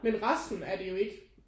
Men resten er det jo ikke